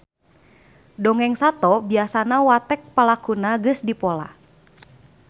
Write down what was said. Dongeng sato biasana watek palakuna geus dipola.